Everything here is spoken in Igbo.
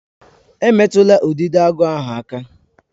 Emetụla Udidoagu ahụ aka?